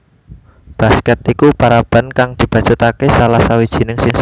Basket iku paraban kang dibacutake salah sawijining siswane